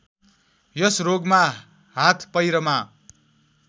यस रोगमा हाथपैरमा